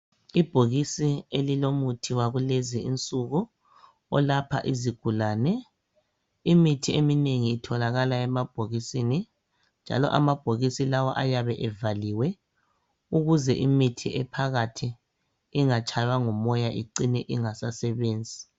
Ibhokisi elilomuthi wakulezinsuku olapha izigulane, imithi eminengi itholakala emabhokisini njalobhokisi lawa ayabe evaliwe ukuze imithi ephakathi ingatshaywa ngumoya icine ingasasebenzi.